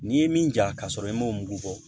N'i ye min ja ka sɔrɔ i m'o mugu bɔ